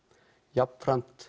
jafn